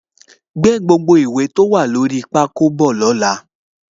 Gbé gbogbo ìwé tí ó wà lórí pákó bọ̀ ní ọ̀la